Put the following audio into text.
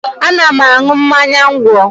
Ana m aṅụ mmanya ńgwọ